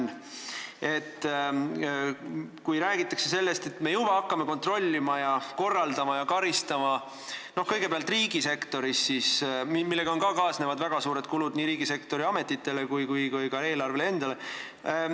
Nüüd räägitakse sellest, et me hakkame juba kontrollima, korraldama ja karistama, kõigepealt riigisektoris, millega kaasnevad väga suured kulud nii riigisektori ametitele kui ka eelarvele endale.